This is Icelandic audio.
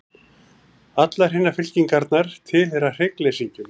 Allar hinar fylkingarnar tilheyra hryggleysingjum.